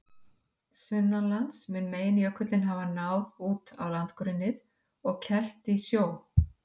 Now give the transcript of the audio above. Sunnanlands mun meginjökullinn hafa náð út á landgrunnið og kelft í sjó.